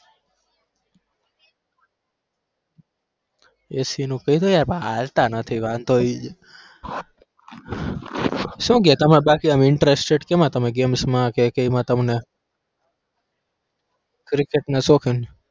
AC કઈ નહીં પણ હાલતા નથી વાંધો ઈ છે. શું કે તમાર બાકી interested કેમાં તમે games માં કે એમાં તમને ક્રિકેટ ના શોખીન.